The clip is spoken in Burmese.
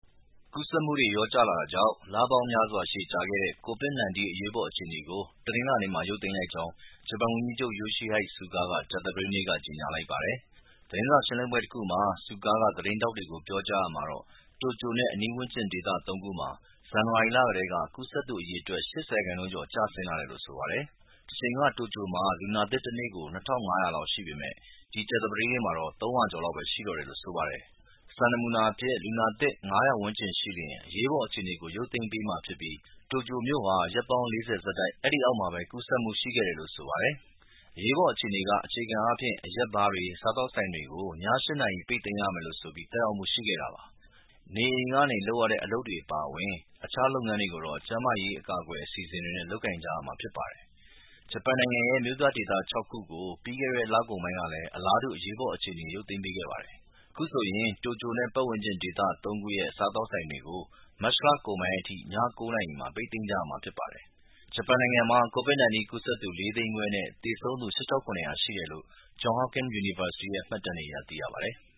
ကူးစက်မှုတွေလျော့ကျလာတာကြောင့် လပေါင်းများစွာ ရှည်ကြာခဲ့တဲ့ COVID-19 အရေးပေါ်အခြေအနေကို တနင်္လာနေ့က ရုပ်သိမ်းလိုက်ကြောင်း ဂျပန်ဝန်ကြီးချုပ် Yoshihide Suga က ကြာသပတေးနေ့က ကြေညာလိုက်ပါတယ်။ သတင်းစာရှင်းလင်းပွဲတခုမှာ Suga က သတင်းထောက်တွေကို ပြောကြားရာမှာတော့ တိုကျိူနဲ့အနီးဝန်းကျင် ဒေသသုံးခုမှာ ဇန်နဝါရီလကတည်းက ကူးစက်သူအရေအတွက် ၈၀ ရာခိုင်နှုန်းကျော် ကျဆင်းလာတယ်လို့ဆိုပါတယ်။ တချိန်က တိုကျိူမှာ လူနာသစ်တနေ့ကို ၂၅၂၀ လောက်ရှိပေမယ့် ဒီကြာသပတေးနေ့မှာတော့ ၃၂၃ ယောက်ပဲ ရှိတော့တယ်လို့ဆိုပါတယ်။ စံအဖြစ် လူနာသစ် ၅၀၀ ဝန်းကျင်ရှိလျှင် အရေးပေါ်အခြေအနေကို ရုပ်သိမ်းပေးမှာဖြစ်ပြီး တိုကျိုမြို့ဟာ ရက်ပေါင်းလေးဆယ် ဆက်တိုက် အဲဒီအောက်မှာပဲ ကူးစက်မှုရှိခဲ့တယ်လို့ဆိုပါတယ်။ အရေးပေါ်အခြေအနေက အခြေခံအားဖြင့် အရက်ဘားတွေ၊ စားသောက်ဆိုင်တွေကို ည ၈ နာရီ ပိတ်သိမ်းရမယ်ဆိုပြီး သက်ရောက်မှုရှိခဲ့တာပါ။ နေအိမ်တွေကနေ လုပ်ကိုင်ရတဲ့ အလုပ်တွေ အပါအဝင် တခြားလုပ်ငန်းတွေကိုတော့ ကာကွယ်ရေးအစီအစဉ်တွေနဲ့လုပ်ကိုင်ကြရမှာဖြစ်ပါတယ်။ ဂျပန်နိုင်ငံရဲ့ မြို့ပြဒေသ ၆ ခုကိုလည်း ပြီးခဲ့တဲ့ လ ကုန်ပိုင်းက အလားတူပဲ အရေးပေါ်အခြေအနေ ရုပ်သိမ်းပေးခဲ့ပါတယ်။ အခုဆို တိုကျိူနဲ့ပတ်ဝန်းကျင်ဒေသုံးခုရဲ့ စားသောက်ဆိုင်တွေကို မတ်လကုန်ပိုင်းအထိ ည ၉ နာရီမှာ ပိတ်သိမ်းကြရမှာဖြစ်ပါတယ်။ ဂျပန်နိုင်ငံမှာ COVID-19 ကူးစပ်သူ ၄ သိန်းခွဲနဲ့သေဆုံးသူ ၈၇၀၀ ရှိတယ်လို့ Johns Hopkins University ရဲ့ မှတ်တမ်းတွေအရ သိရပါတယ်။